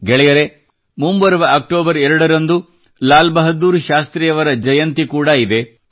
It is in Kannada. ಗೆಳೆಯರೇ ಮುಂಬರುವ ಅಕ್ಟೋಬರ್ 2 ರಂದು ಲಾಲ್ ಬಹದ್ದೂರ್ ಶಾಸ್ತ್ರಿಯವರ ಜನ್ಮ ಜಯಂತಿ ಕೂಡ ಇದೆ